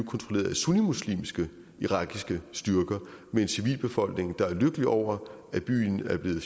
kontrolleret af sunnimuslimske irakiske styrker med en civilbefolkning der er lykkelig over at byen er blevet